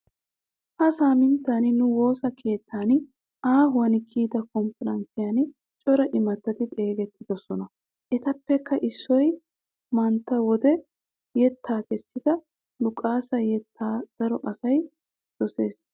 Ha saaminttan nu woosa keettan aahuwan kiyida kompparanssiyan cora imattati xeesettidosona. Etappekka issoy mata wode yettaa kessida lukasa yettaa daro asay dosiis.